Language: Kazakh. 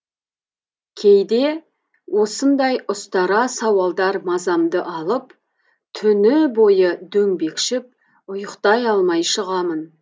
кейде осындай ұстара сауалдар мазамды алып түні бойы дөңбекшіп ұйықтай алмай шығамын